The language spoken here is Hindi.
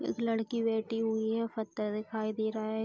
एक लड़की बैठी हुई है फत्तर दिखाई दे रहा है।